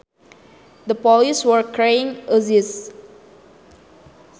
The police were carrying uzis